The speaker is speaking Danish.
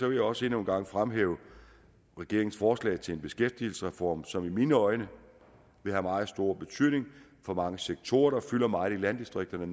jeg også endnu en gang fremhæve regeringens forslag til en beskæftigelsesreform som med mine øjne vil have meget stor betydning for mange sektorer der fylder meget i landdistrikterne